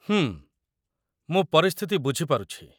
ହୁଁ, ମୁଁ ପରିସ୍ଥିତି ବୁଝି ପାରୁଛି।